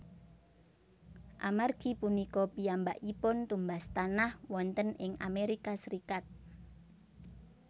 Amargi punika piyambakipun tumbas tanah wonten ing Amerika Serikat